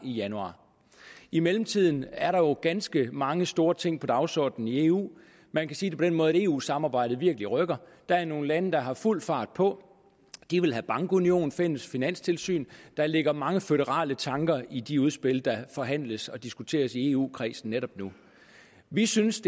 i januar i mellemtiden er der jo ganske mange store ting på dagsordenen i eu man kan sige den måde at eu samarbejdet virkelig rykker der er nogle lande der har fuld fart på de vil have bankunion og fælles finanstilsyn der ligger mange føderale tanker i de udspil der forhandles og diskuteres i eu kredsen netop nu vi synes